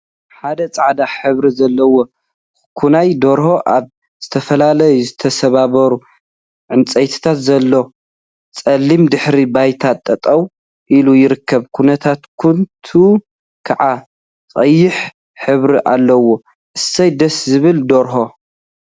ሓደ ፃዕዳ ሕብሪ ዘለዎ ኮዂናይ ደርሆ አብ ዝተፈላለዩ ዝተሰባበሩ ዕንፀይቲ ዘለዎ ፀሊም ድሕረ ባይታ ጠጠው ኢሉ ይርከብ፡ኩንትኩንትኡ ከዓ ቀይሕ ሕብሪ አለዎ፡፡ አሰይ ደስ ዝብል ደርሆ!